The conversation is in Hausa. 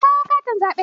Kawo akwatin zaɓe!